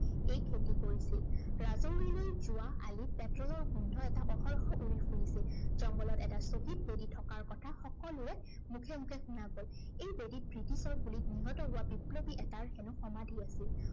এই খেতি কৰিছিল। ৰাজাওলিলৈ যোৱা আলিত বতৰৰ গোন্ধ এটা অহৰহ উৰি ফুৰিছিল। জংঘলত এটা শ্বহীদ বেদী থকাৰ কথা সকলোৰে মুখে মুখে শুনা গল। এই বেদীত ব্ৰিটিছৰ গুলীত নিহত হোৱা বিপ্লৱী এটাৰ হেনো সমাধি আছিল।